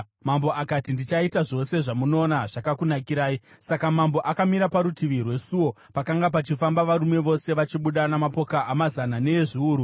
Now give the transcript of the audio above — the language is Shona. Mambo akati, “Ndichaita zvose zvamunoona zvakakunakirai.” Saka mambo akamira parutivi rwesuo pakanga pachifamba varume vose vachibuda namapoka amazana neezviuru.